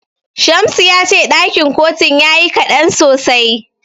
Shamsu ya ce ɗakin kotun yayi kaɗan sosai.